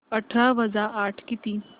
अठरा वजा आठ किती